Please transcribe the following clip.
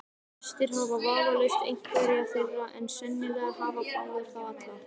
Flestir hafa vafalaust einhverja þeirra, en sennilega hafa fáir þá alla.